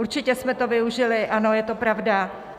Určitě jsme to využili, ano, je to pravda.